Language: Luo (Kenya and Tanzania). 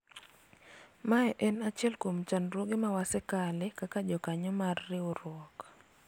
mae en achiel kuom chandruoge ma wasekale kaka jokanyo mar riwruok